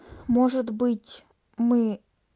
может быть мы